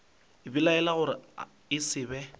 belaela gore e se be